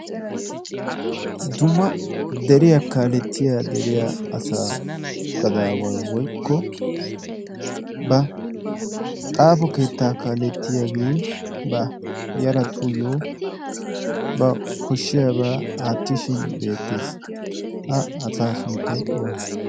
Dumma deriyaa kaalettiya deriya asaa gadaaway woykko ba xaafo keettaa kaalettiyaagee ba yaratuyyo ba koshshiyaabaa aattishin beettees. Ha asaa sunttay oonee?